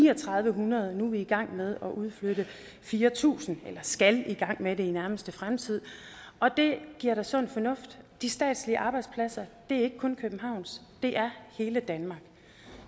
hundrede nu er vi i gang med at udflytte fire tusind eller skal i gang med det i nærmeste fremtid og det er da sund fornuft de statslige arbejdspladser er ikke kun københavns det er hele danmarks